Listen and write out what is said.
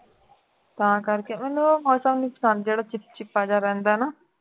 ਤਾਂ ਕਰਕੇ ਮੈਨੂੰ ਉਹ ਮੌਸਮ ਨਹੀਂ ਪਸੰਦ ਜਿਹੜਾ ਚਿਪਚਿਪਾ ਜਿਹਾ ਰਹਿੰਦਾ ਹੈ ਨਾ